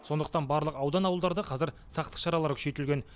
сондықтан барлық аудан ауылдарда қазір сақтық шаралары күшейтілген